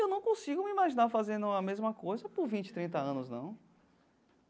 Eu não consigo me imaginar fazendo a mesma coisa por vinte, trinta anos, não.